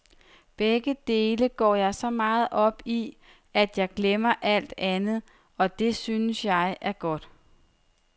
Begge dele går jeg så meget op i, at jeg glemmer alt andet, og det synes jeg er godt.